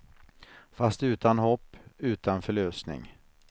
Fast utan hopp, utan förlösning.